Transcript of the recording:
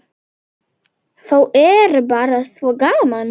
Þá er bara svo gaman.